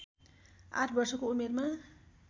आठ वर्षको उमेरमा